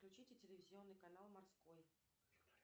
включите телевизионный канал морской